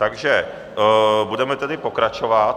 Takže budeme tedy pokračovat.